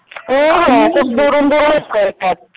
हो हो खूप दुरून दुरून लोकं येतात